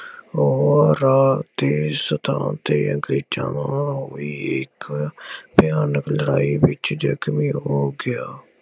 ਉਹ ਰਾਅ ਦੇ ਸਥਾਨ ਤੇ ਅੰਗਰੇਜ਼ਾਂ ਨਾਲ ਹੋਈ ਇੱਕ ਭਿਆਨਕ ਲੜਾਈ ਵਿੱਚ ਜ਼ਖਮੀ ਹੋ ਗਿਆ।